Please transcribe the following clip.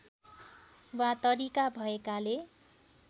वा तरिका भएकाले